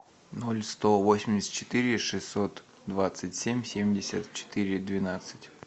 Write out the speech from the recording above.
ноль сто восемьдесят четыре шестьсот двадцать семь семьдесят четыре двенадцать